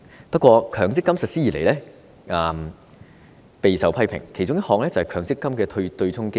不過，強積金實施以來備受批評，其中一個問題就是強積金的對沖機制。